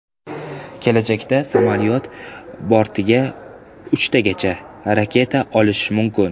Kelajakda samolyot bortiga uchtagacha raketa olishi mumkin.